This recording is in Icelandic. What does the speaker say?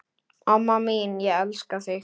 Amma mín, ég elska þig.